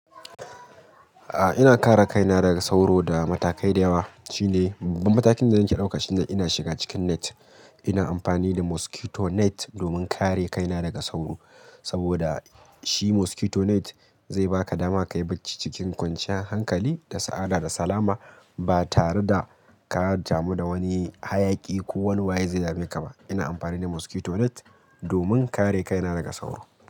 A'a ina kare kaina daga sauro da matakai da yawa, shine babbammatakin da nake ɗauka shine ina shiga cikin net ina amfani da mosquito net domin kare kaina daga sauro saboda shi mosquito net zai baka dama ka yi bacci cikin kwanciyar hankali da sa'ada da salama ba tare da ka damu da wani hayaki ko wani waye zai dameka ba. Ina amfani da mosquito net domin kare kaina daga sauro.